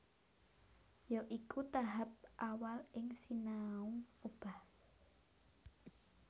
Ya iku tahap awal ing sinau obah